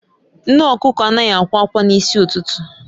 Nne okuko anaghị akwa akwa n'isi ụtụtụ